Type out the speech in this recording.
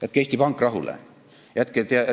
Jätke Eesti Pank rahule!